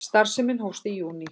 Starfsemin hófst í júní